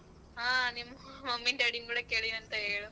ಹ ನಿಮ್ mummy daddy ನ್ ಕೂಡ ಕೇಳಿದೆ ಅಂತ ಹೇಳು.